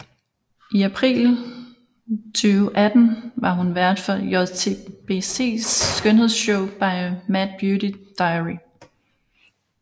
I april 2018 var hun vært for JTBCs skønhedsshow My Mad Beauty Diary